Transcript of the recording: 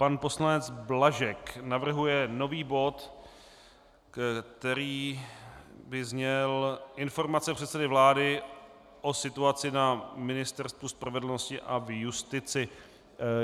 Pan poslanec Blažek navrhuje nový bod, který by zněl: Informace předsedy vlády o situaci na Ministerstvu spravedlnosti a v justici.